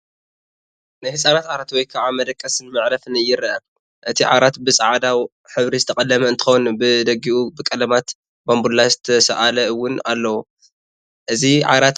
ናይ ህፃናት ዓራት ወይ ከዓ መደቐስን መዕረፍን ይረአ፡፡ እቲ ዓራት ብፃዕዳ ሕብሪ ዝተቐለመ እንትኾን ብደጊኡ ብቀለማት ባንቡላ ዝተሳኣለ ውን ኣለዎ፡፡ እዚ ዓራት ኣብ ፅሩይ ቦታ ዝዓረፈ ዶ ይመስል?